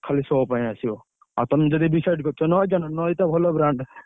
ଖାଲି show ପାଇଁ ଆସିବ। ଆଉ ତମେ ଯଦି decide କରିଛ ଆଣିବ। ଟା ଭଲ brand ।